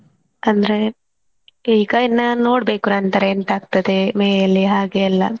ಅಂದ್ರೆ ಈಗ ಇನ್ನ ನೋಡ್ಬೇಕು ನಂತ್ರ ಎಂತ ಆಗ್ತಾದೆ May ಯಲ್ಲಿ ಹಾಗೆ ಎಲ್ಲಾ.